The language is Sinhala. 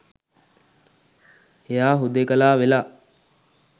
එයා හුදෙකලා වෙලා